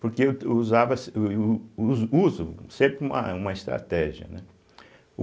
Porque eu to usava se e u u uso uso sempre um uma estratégia, né.